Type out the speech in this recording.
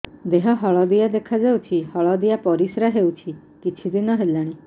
ଦେହ ହଳଦିଆ ଦେଖାଯାଉଛି ହଳଦିଆ ପରିଶ୍ରା ହେଉଛି କିଛିଦିନ ହେଲାଣି